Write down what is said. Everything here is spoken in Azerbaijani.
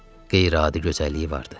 Qeyri-adi gözəlliyi vardı.